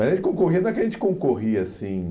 Mas a gente concorria, não é que a gente concorria assim...